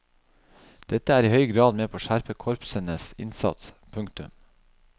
Dette er i høy grad med på å skjerpe korpsenes innsats. punktum